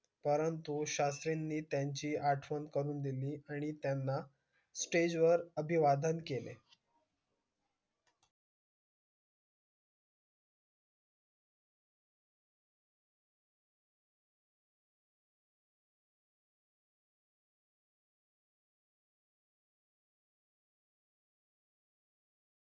कारण तो शास्त्री नि त्याची आठवण दिली आणि त्याना stage वर अभिवादन केले